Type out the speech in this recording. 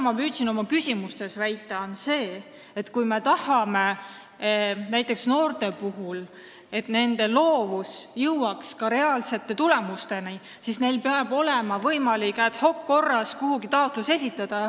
Ma püüdsin oma küsimustes väita seda, et kui me tahame, et näiteks noorte loovus jõuaks ka reaalsete tulemusteni, siis neil peab olema võimalik ad-hoc-korras kuhugi taotlus esitada.